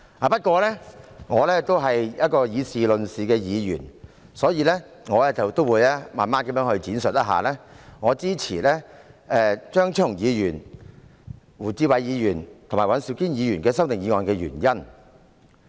不過，我是以事論事的議員，所以，我會慢慢闡述我支持張超雄議員、胡志偉議員及尹兆堅議員的修訂議案的原因。